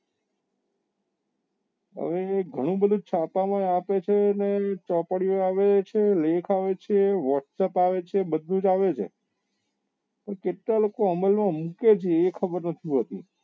હવે એ ગણું બધું છાપા માં આવે છે ને ચોપડીઓ આવે છે લેખ આવે છે whatsapp આવે છે બધું જ આવે છે પણ કેટલા લોકો અમલ માં મુકે છે એ ખબર નથી પડતી